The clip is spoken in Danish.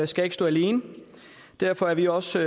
skal stå alene derfor er vi også